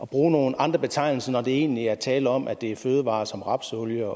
bruge nogle andre betegnelser når der egentlig er tale om at det er fødevarer som rapsolie